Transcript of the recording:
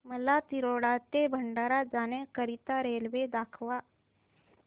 मला तिरोडा ते भंडारा जाण्या करीता रेल्वे दाखवा